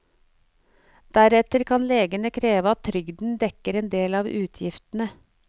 Deretter kan legene kreve at trygden dekker en del av utgiftene.